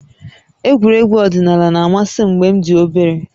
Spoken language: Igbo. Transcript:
Egwuregwu ọdịnala na-amasị m mgbe m dị obere